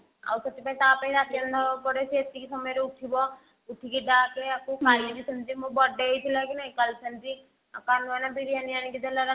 ଆଉ ସେଥିପାଇଁ ତା ପାଇଁ ନବାକୁ ପଡେ ସେ ଏତିକି ସମୟ ରେ ଉଠିବ ଉଠିକି ଡାକେ କାଲି ବି ସେମିତି ମୋ birthday ହେଇଥିଲା କି ନାହିଁ କାଲି ସେମିତି କାହ୍ନୁ ଭାଇନ ବିରିଆନୀ ଆଣିକି ଦେଲା ରାତିରେ